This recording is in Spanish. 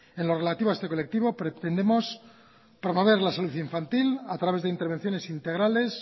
en lo relativo a este colectivo pretendemos promover la salud infantil a través de intervenciones integrales